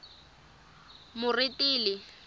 moretele